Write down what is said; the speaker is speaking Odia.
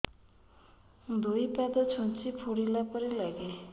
ଦୁଇ ପାଦ ଛୁଞ୍ଚି ଫୁଡିଲା ପରି ଲାଗେ